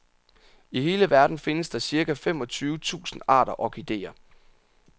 I hele verden findes der cirka femogtyve tusind arter orkidéer.